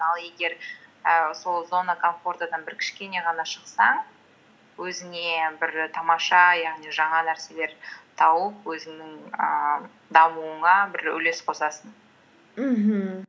ал егер і сол зона комфортадан бір кішкене ғана шықсаң өзіңе бір тамаша яғни жаңа нәрселер тауып өзіңнің ііі дамуыңа бір үлес қосасың мхм